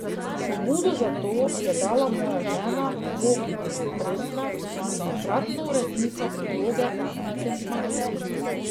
Pobudo za to je dala moja žena Bogi Pretnar, takratna urednica priloge Vikend Magazin.